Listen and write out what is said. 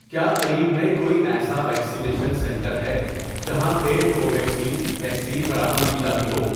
کیا قریب میں کوئی ایسا ویکسینیشن سنٹر ہے جہاں پِیڈ کوویکسین ویکسین فراہم کی جاتی ہو؟